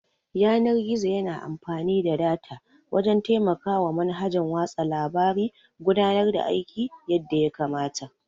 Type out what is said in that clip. Yanar-gizo yana amfani da data wajan taimakawa manhajan watsa labare gudanar da aiki yadda yakamata